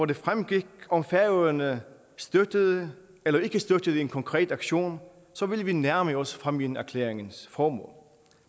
det fremgik om færøerne støttede eller ikke støttede en konkret aktion så ville vi nærme os fámjinerklæringens formål